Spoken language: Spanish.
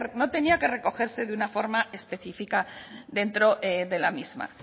no tenía que recogerse de una forma específica dentro de la misma